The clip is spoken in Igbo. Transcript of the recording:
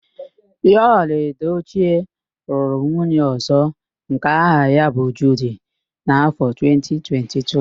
Yul Edochie lụrụ nwunye ọ̀zọ́ nke aha ya bụ Judi n' áfọ 2022.